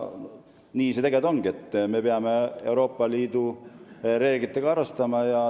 Tegelikult ongi nii, et me peame Euroopa Liidu reeglitega arvestama.